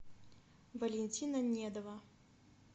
валентина недова